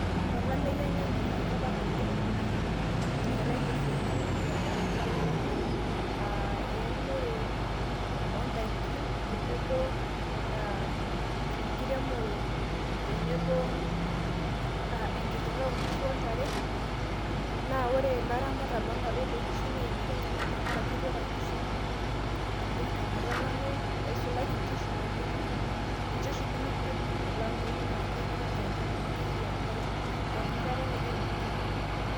olameyu enyamali enkop ang' oleng naa inyialayie isiaiting' biasharani ooltung'anak, eunore oo nd'aiki enkiremore tenebo enkirirra oo inkishu ontare naa ore ilaramatak loo ntare oloonkishu neimatie enyamali te nkaraki etwata inkishu oleng' te nkata olameyu neisulaki inkishu amu ninche oshi nemeidimu olameyu naa keyieu niche enchan oleng' amu keyieu enkare pooki kata neyieu inkujit kumok.